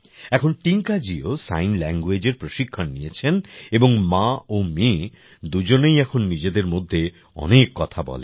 এখন টিঙ্কাজিও sign language এর প্রশিক্ষণ নিয়েছেন এবং মা ও মেয়ে দুজনেই এখন নিজেদের মধ্যে অনেক কথা বলেন